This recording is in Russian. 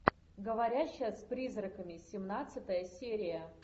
говорящая с призраками семнадцатая серия